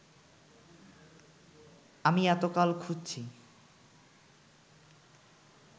আমি এতকাল খুঁজছি